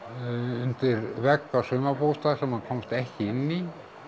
undir vegg á sumarbústað sem hann komst ekki inn í